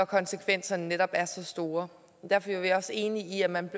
konsekvenserne netop er så store derfor er vi også enige i at man